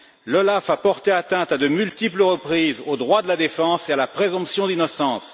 L'OLAF a porté atteinte, à de multiples reprises, aux droits de la défense et à la présomption d'innocence.